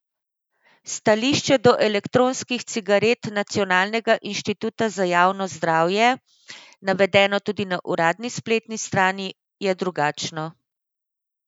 Stališče do elektronskih cigaret Nacionalnega inštituta za javno zdravje, navedeno tudi na uradni spletni strani, je drugačno.